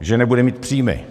že nebude mít příjmy.